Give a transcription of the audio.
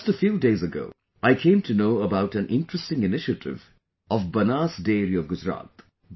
Just a few days ago, I came to know about an interesting initiative of Banas Dairy of Gujarat